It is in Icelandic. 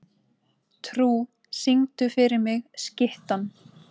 Trú, syngdu fyrir mig „Skyttan“.